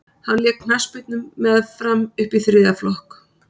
hann lék knattspyrnu með fram upp í þriðja flokk